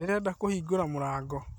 Nderenda kũhingũra mũrango